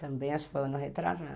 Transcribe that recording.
Também acho que foi um ano retrasado.